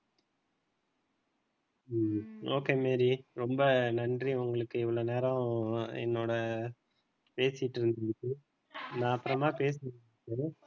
ம்ம் okay Mary ரொம்ப நன்றி உங்களுக்கு இவ்வளவு நேரம் என்னோட பேசிட்டு இருந்ததுக்கு நான் அப்புறமா பேசிட்டு